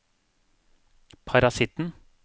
parasitten